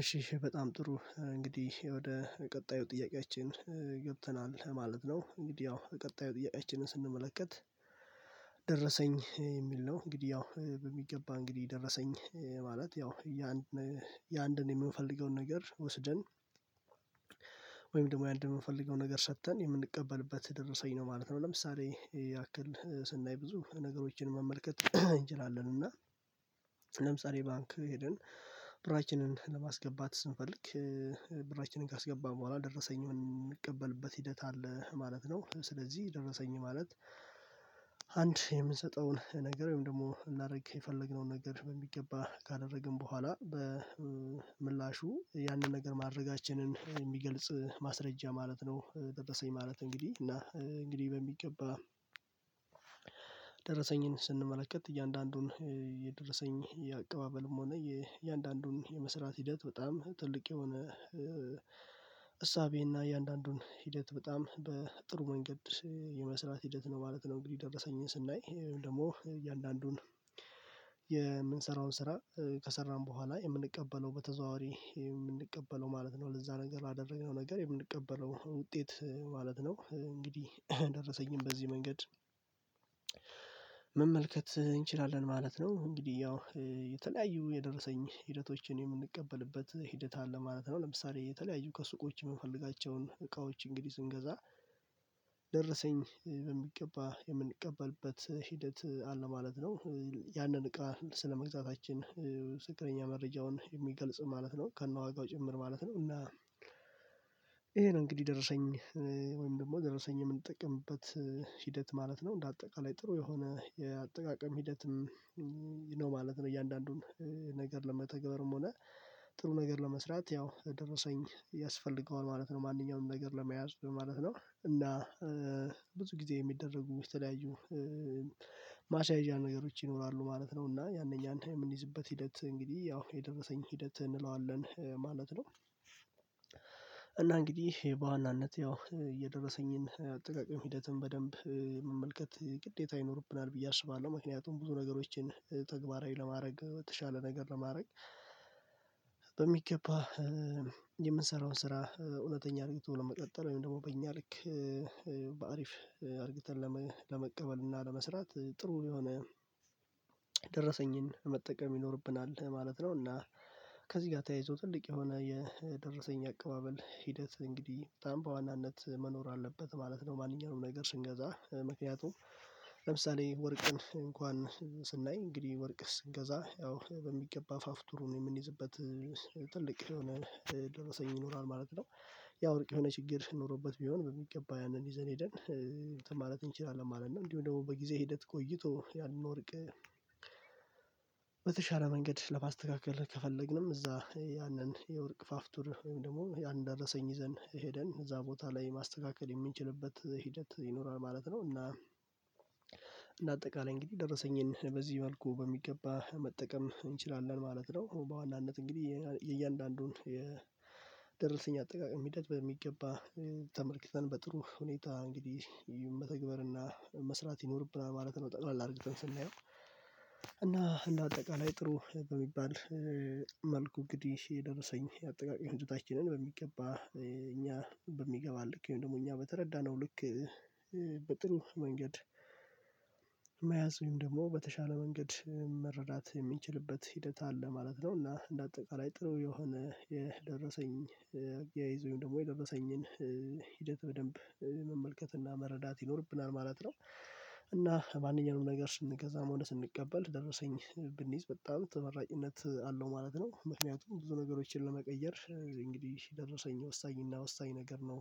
እሺ እሽ በጣም ጥሩ እንግዲህ ወደ ቀጣዩ ጥያቄያችን ገብተናል ማለት ነው እንግዲህ ያው ቀጣዩ ጥያቄያችንን ስንመለከት። ደረሰኝ የሚል ነው እንግዲህ ያው በሚገባ እንግዲህ ደረሰኝ ማለት ያው ያንድ የአንድን የምንፈልገውን ነገር ወስደን ወይም ደግሞ ያንድ የምንፈልገው ነገር ሰጥተን የምንቀበልበት ደረሰኝ ነው ማለት ነው። ለምሳሌ ያክል ስናይ ብዙ ነገሮችን መመልከት እንችላለን እና ለምሳሌ ባንክ ሄደን ብራችንን ለማስገባት ስንፈልግ ብራችንን ካስገባን በኋላ ደረሰኝ የምንቀበልበት ሂደት አለ ማለት ነው። ስለዚህ ደረሰኝ ማለት አንድ የምንሰጠውን ነገር ወይም ደግሞ ልናደርግ የፈለግነውን ነገር በሚገባ ካደረግን በኋላ በምላሹ ያንን ነገር ማድረጋችንን የሚገልጽ ማስረጃ ማለት ነው። ደረሰኝ ማለት እንግዲህ እና እንግዲህ በሚገባ ደረሰኝን ስንመለከት እያንዳንዱን የደረሰኝ የአቀባበልም ሆነ የእያንዳንዱን የመስራት ሂደት በጣም ትልቅ የሆነ እሳቤና እያንዳንዱን ሂደት በጣም በጥሩ መንገድ የመስራት ሂደት ነው ማለት ነው። እንግዲህ ደረሰኝን ስናይ ይሄን ደግሞ እያንዳንዱን የምንሰራውን ስራ ከሰራን በኋላ የምንቀበለው በተዘዋዋሪ የምንቀበለው ማለት ነው ለዛ ነገር ላደረግነው ነገር የምንቀበለው ውጤት ማለት ነው። እንግዲህ ደረሰኝን በዚህ መንገድ መመልከት እንችላለን ማለት ነው እንግዲህ ያው የተለያዩ የደረሰኝ ሂደቶችን የምንቀበልበት ሂደት አለ ማለት ነው። ለምሳሌ እየተለያዩ ከሱቆች የምፈልጋቸውን እቃዎች እንግዲህ ስንገዛ ደረሰኝ በሚገባ የምንቀበልበት ሂደት አለ ማለት ነው ያንን እቃ ስለመግዛታችን ትክክለኛ መረጃውን የሚገልጽ ማለት ነው ከነዋጋው ጭምር ማለት ነው። እና ይሄ ነው እንግዲህ ደረሰኝ ወይም ደግሞ ደረሰኝ የምንጠቅምበት ሂደት ማለት ነው እንደ አጠቃላይ ጥሩ የሆነ የአጠቃቀም ሂደትም ነው ማለት ነው እያንዳንዱን ነገር ለመተግበርም ሆነ ጥሩ ነገር ለመስራት ያው ደረሰኝ ያስፈልገዋል ማለት ነው። ማንኛውም ነገር ለመያዝ ማለት ነው እና ብዙ ጊዜ የሚደረጉ የተለያዩ ማስያዣ ነገሮች ይኖራሉ ማለት ነው እና ያንን ያንን የምንይዝበት ሂደት እንግዲህ ያው የደረሰኝ ሂደት እንለዋለን ማለት ነው። እና እንግዲህ በዋናነት ያው የደረሰኝን ጥቃቅን ሂደትን በደንብ መመልከት ግዴታ ይኖርብናል ብዬ አስባለሁ ምክንያቱም ብዙ ነገሮችን ተግባራዊ ለማድረግ በተሻለ ነገር ለማድረግ በሚገባ የምንሰራውን ስራ እውነተኛ አድርጊቶ ለመቀጠል ወይም ደግሞ በእኛ ልክ በአሪፍ አርግተን ለመቀበል እና ለመስራት ጥሩ የሆነ ደረሰኝን መጠቀም ይኖርብናል ማለት ነው። እና ከዚህ ጋር ተያይዞ ትልቅ የሆነ የደረሰኝ አቀባበል ሂደት እንግዲህ በጣም በዋናነት መኖር አለበት ማለት ነው ማንኛውም ነገር ስንገዛ ምክንያቱም ለምሳሌ ወርቅን እንኳን ስናይ እንግዲህ ወርቅ ስንገዛ ያው በሚገባ አፋፍቱሩን የምንይዝበት ትልቅ የሆነ ደረሰኝ ይኖራል ማለት ነው ያ ወርቅ የሆነ ችግር ኖሮበት ቢሆን በሚገባ ያንን ይዘን ሄደን እንትን ማለት እንችላለን ማለት ነው። እንዲሁ ደግሞ በጊዜ ሂደት ቆይቶ ያንን ወርቅ በተሻለ መንገድ ለማስተካከል ከፈለግንም እዛ ያንን የወርቅ ፋፍቱር ወይም ደግሞ ያንን ደረሰኝ ይዘን ሄደን እዛ ቦታ ላይ ማስተካከል የምንችልበት ሂደት ይኖራል ማለት ነው። እና እንደ አጠቃላይ እንግዲህ ደረሰኝን በዚህ መልኩ በሚገባ መጠቀም እንችላለን ማለት ነው። በዋናነት እንግዲህ የእያንዳንዱን ደረሰኝ አጠቃቀም ሂደት በሚገባ ተመልክተን በጥሩ ሁኔታ እንግዲህ መተግበር እና መስራት ይኖርብናል ማለት ነው ጠቅለል አርግተን ስናየው እና እንደ አጠቃላይ ጥሩ በሚባል መልኩ እንግዲህ የደረሰኝ አጠቃቀም ሁኔታችንን በሚገባ እኛ በሚገባ በሚገባን ልክ ደግሞ እኛ በተረዳነው ልክ በጥሩ መንገድ መያዙን ደግሞ በተሻለ መንገድ መረዳት የምንችልበት ሂደት አለ ማለት ነው። እና እንደ አጠቃላይ ጥሩ የሆነ የደረሰኝ አያያዝ ደግሞ የደረሰኝን ሂደት በደንብ መመልከትና መረዳት ይኖርብናል ማለት ነው እና ማንኛውንም ነገር ስንገዛም ሆነ ስንቀበል ደረሰኝ ብንይዝ በጣም ተመራጭነት አለው ማለት ነው ምክንያቱም ብዙ ነገሮችን ለመቀየር እንግዲህ ደረሰኝ ወሳኝና ወሳኝ ነገር ነው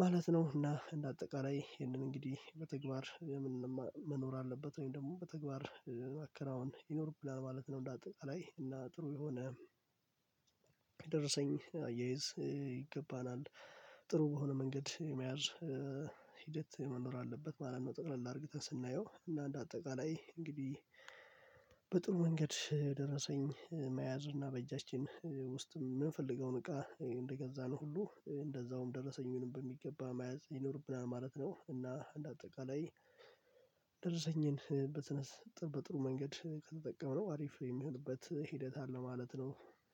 ማለት ነው። እና እንደ አጠቃላይ ይሄንን እንግዲህ በተግባር መኖር አለበት ወይም ደግሞ በተግባር ማከናወን ይኖርብናል ማለት ነው። እንደ አጠቃላይ እና ጥሩ የሆነ ደረሰኝ አያይዝ ይገባናል ጥሩ በሆነ መንገድ የመያዝ ሂደት መኖር አለበት ማለት ነው። ጠቅለል አርግተን ስናየው እና እንደ አጠቃላይ እንግዲህ በጥሩ መንገድ ደረሰኝ መያዝ እና በእጃችን ውስጥ የምንፈልገውን እቃ እንደገዛን ሁሉ እንደዛውም ደረሰኝን በሚገባ መያዝ ይኖርብናል ማለት ነው። እና እንደ አጠቃላይ ደረሰኝን በትንሽ ጥሩ በጥሩ መንገድ ከተጠቀምነው አሪፍ የሚሆንበት ሂደት አለ ማለት ነው።